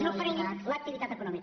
no frenin l’activitat econòmica